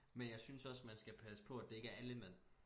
Men jeg synes også man skal passe på at det ikke er alle mænd